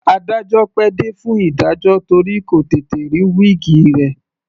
Adájọ́ pẹ́ dé fún ìdájọ́ torí kò tètè rí wíìgi rẹ̀.